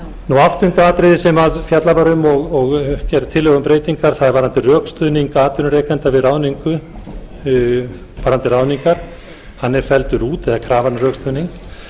grein áttunda atriðið sem fjallað var um og gerð tillaga um breytingar er varðandi rökstuðning atvinnurekenda við ráðningar hann er felldur út eða krafan um rökstuðning